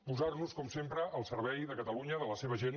posar nos com sempre al servei de catalunya de la seva gent